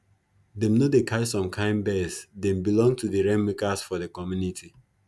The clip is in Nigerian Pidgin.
them no dey catch some kin birds them belong to di rainmakers for the community